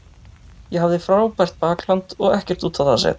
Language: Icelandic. Ég hafði frábært bakland og ekkert út á það að setja.